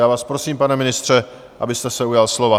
Já vás prosím, pane ministře, abyste se ujal slova.